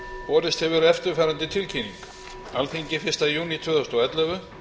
borist hefur eftirfarandi tilkynning alþingi fyrsta júní tvö þúsund og ellefu